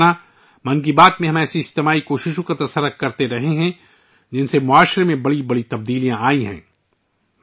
میرے پریوار جنو ، 'من کی بات ' میں ہم ایسی اجتماعی کوششوں پر بات کر رہے ہیں ، جن سے معاشرے میں بڑی تبدیلیاں آئی ہیں